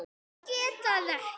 Get það ekki.